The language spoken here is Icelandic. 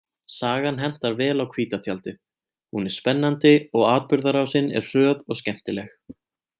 Sagan hentar vel á hvíta tjaldið, hún er spennandi og atburðarásin er hröð og skemmtileg.